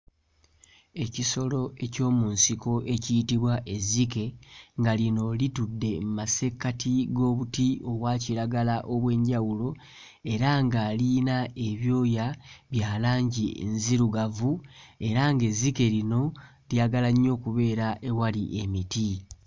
Ekisolo eky'omu nsiko ekiyitibwa ezzike nga lino litudde mu masekkati g'obuti obwa kiragala obw'enjawulo era nga liyina ebyoya bya langi nzirugavu era ng'ezzike lino lyagala nnyo okubeera ewali emiti.